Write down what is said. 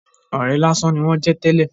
Ọ̀rẹ́ lásán ni wón jẹ́ tẹ́lè.